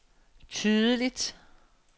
tydeligt